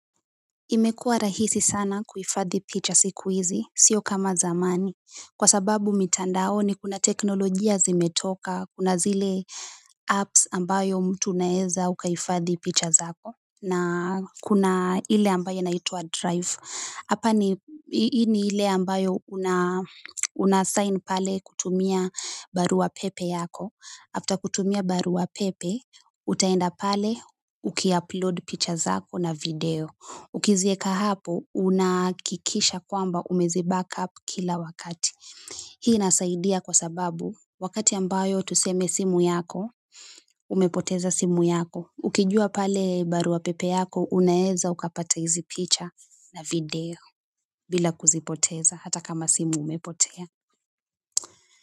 Imekua rahisi sana kuhifadhi picha siku hizi, sio kama zamani, kwa sababu mitandaoni kuna teknolojia zimetoka, kuna zile apps ambayo mtu unaweza hifadhi picha zako. Kuna ile inaitwa drive hii ni ile ambayo una sign pale kutumia barua pepe yako. After kutumia barua pepe, utaenda pale ukiupload picha zako na video. Ukiziweka hapo, unahakikisha kwamba umeziback up kila wakati. Hii inasaidia kwa sababu, wakati ambayo tuseme simu yako, umepoteza simu yako. Ukijua pale barua pepe yako, unaweza ukapata hizi picha na video bila kuzipoteza hata kama simu imepotea.